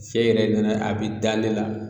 Sɛn yɛrɛ dɔ a be da ne la